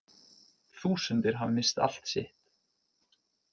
Þúsundir hafa misst allt sitt